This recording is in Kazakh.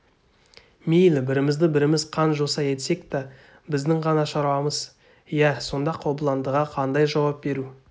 мейлі бірімізді біріміз қан жоса етсек да біздің ғана шаруамыз иә сонда қобыландыға қандай жауап беру